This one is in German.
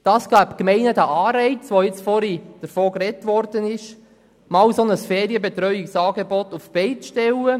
Dies gibt den Gemeinden den Anreiz, wie dies vorhin angesprochen wurde, ein Ferienbetreuungsangebot auf die Beine zu stellen.